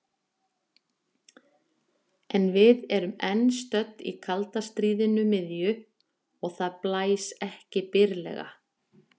En við erum enn stödd í kalda stríðinu miðju og það blæs ekki byrlega.